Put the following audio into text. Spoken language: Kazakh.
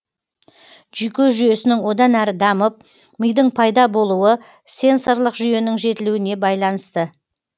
жүйке жүйесінің одан әрі дамып мидың пайда болуы сенсорлық жүйенің жетілуіне байланысты